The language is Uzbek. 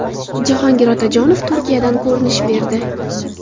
Jahongir Otajonov Turkiyadan ko‘rinish berdi.